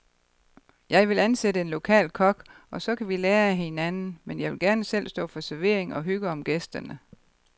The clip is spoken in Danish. Jeg vil ansætte en lokal kok, og så kan vi lære af hinanden, men jeg vil gerne selv stå for servering og hygge om gæsterne.